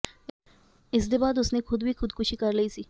ਇਸਦੇ ਬਾਅਦ ਉਸਨੇ ਖੁਦ ਵੀ ਖੁਦਕੁਸ਼ੀ ਕਰ ਲਈ ਸੀ